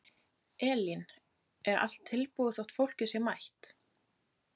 Elín: Er allt tilbúið þótt fólkið sé mætt?